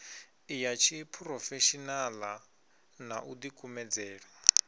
ya tshiphurofeshenaḽa na u ḓikumedzela